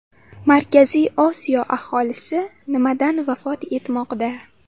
Markaziy Osiyo aholisi nimadan vafot etmoqda?.